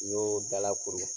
N y'o dalakuru